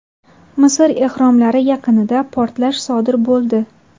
Misr ehromlari yaqinida portlash sodir bo‘ldi.